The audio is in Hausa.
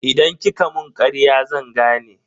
Idan kika mun karya zan gane.